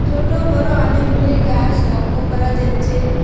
ছোট বড় অনেকগুলি গাছ লক্ষ্য করা যাচ্ছে।